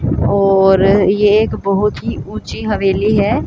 और ये एक बहोत ही ऊंची हवेली हैं।